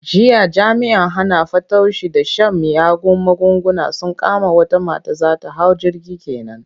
Jiya jami'an hana fatauci da shan miyagun magunguna sun kama wata mata za ta hau jirgi ke nan.